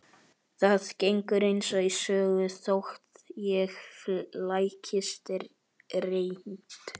Það gengur eins og í sögu þótt ég flækist reynd